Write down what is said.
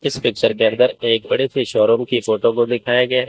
इस पिक्चर के अंदर एक बड़े से शोरूम की फोटो को दिखाया गया है।